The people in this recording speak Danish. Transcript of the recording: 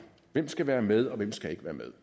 hvem skal være med og hvem skal ikke være med